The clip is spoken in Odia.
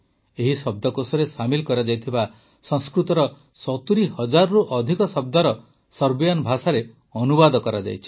ଏହି ଶବ୍ଦକୋଷରେ ସାମିଲ୍ କରାଯାଇଥିବା ସଂସ୍କୃତର ୭୦ ହଜାରରୁ ଅଧିକ ଶବ୍ଦର ସର୍ବିଆନ ଭାଷାରେ ଅନୁବାଦ କରାଯାଇଛି